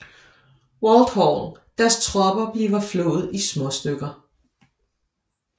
Walthall deres tropper blive flået i småstykker